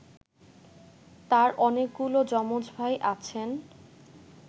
তাঁর অনেকগুলো যমজ ভাই আছেন